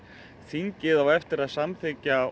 þingið á eftir að samþykkja